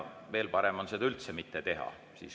Veel parem on seda üldse mitte teha.